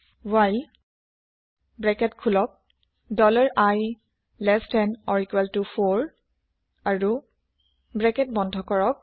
while open bracket dollar i less than or equal to four আৰ bracket space বন্ধ কৰক